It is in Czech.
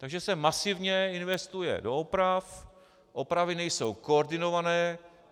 Takže se masivně investuje do oprav, opravy nejsou koordinované.